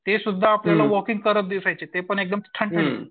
ते सुद्धा आपल्याला एकदम वॉलकिंग करताना दिसायचे ते पण एकदम ठणठणीत.